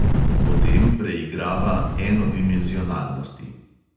Potem preigrava enodimenzionalnosti.